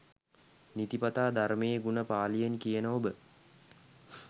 නිතිපතා ධර්මයේ ගුණ පාළියෙන් කියන ඔබ